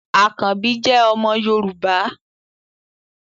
Àkanbí jẹ́ omo Yorùbá